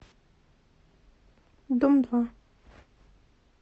дом два